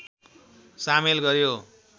सामेल गर्‍यो